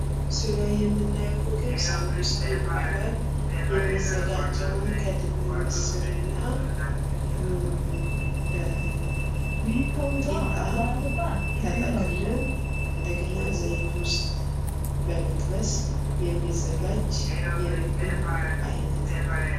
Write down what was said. ምስሉ ላይ የምናየዉ ምግብ ሳቡሳ ይባላል። የሚዘጋጀዉም ከድፍን ምስር እና ከቂጣ ተጠቅሎ እንደገና ዘይት ዉስጥ በመጥበስ የሚዘጋጅ የምግብ አይነት ነዉ።